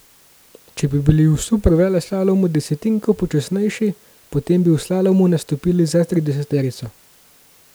Če bi bili v superveleslalomu desetinko počasnejši, potem bi v slalomu nastopili za trideseterico.